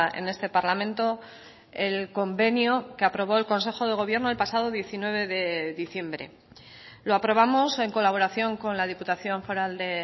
en este parlamento el convenio que aprobó el consejo de gobierno el pasado diecinueve de diciembre lo aprobamos en colaboración con la diputación foral de